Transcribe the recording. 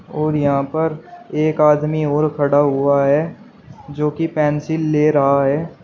और यहां पर एक आदमी और खड़ा हुआ है जो कि पेंसिल ले रहा है।